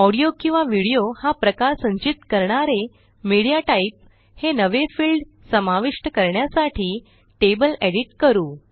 audio किंवा video हा प्रकार संचित करणारे मीडियाटाइप हे नवे फिल्ड समाविष्ट करण्यासाठी टेबल एडिट करू